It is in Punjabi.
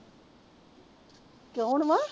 ਕੌਣ ਵਾ